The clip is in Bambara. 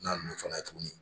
na ninnu fana ye tuguni